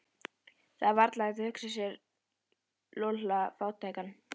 Það var varla hægt að hugsa sér Lúlla fátækan.